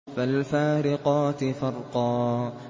فَالْفَارِقَاتِ فَرْقًا